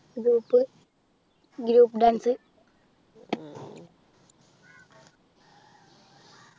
Group Group dance